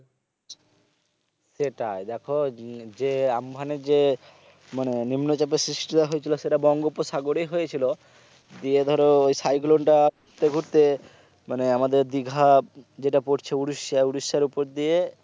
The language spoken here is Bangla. সেটাই দেখো যে আম্ফানের যে মানে নিম্নচাপের সৃষ্টিটা হয়েছিল সেটা বঙ্গোব সাগরে হয়েছিল দিয়ে ধরো ওই cyclone টা ঘুরতে ঘুরতে মানে আমাদের দীঘা যেটা পড়ছে ওড়িশা ওড়িশার উপর দিয়ে